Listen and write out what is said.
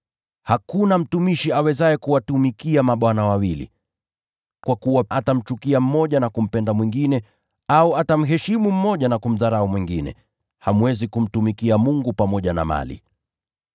“Hakuna mtumishi awezaye kuwatumikia mabwana wawili. Kwa kuwa atamchukia huyu na kumpenda yule mwingine, au atashikamana sana na huyu na kumdharau yule mwingine. Hamwezi kumtumikia Mungu pamoja na Mali.”